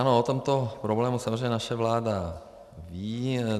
Ano, o tomto problému samozřejmě naše vláda ví.